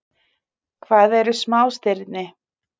Hvað eru smástirni?